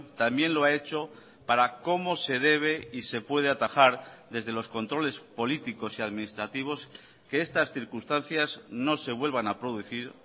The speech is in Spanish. también lo ha hecho para cómo se debe y se puede atajar desde los controles políticos y administrativos que estas circunstancias no se vuelvan a producir